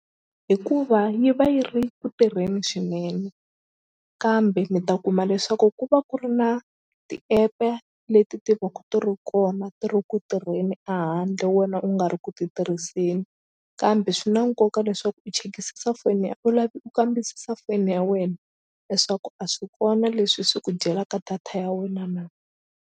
Hikuva yi va yi ri ku tirheni swinene kambe mi ta kuma leswaku ku va ku ri na ti-app-e leti ti vaku ti ri kona ti ri ku tirheni a handle wena u nga ri ku titirhiseni kambe swi na nkoka leswaku u chekisisa foni ya u u kambisisa foyini ya wena leswaku a swi kona leswi swi ku dyelaka data ya wena na.